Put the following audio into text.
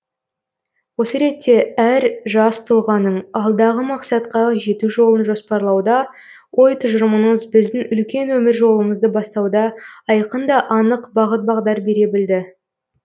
осы ретте әр жас тұлғаның алдағы мақсатқа жету жолын жоспарлауда ой тұжырымыңыз біздің үлкен өмір жолымызды бастауда айқын да анық бағыт бағдар бере білді